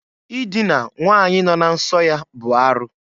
Idina nwanyi nọ na nso ya bụ arụ.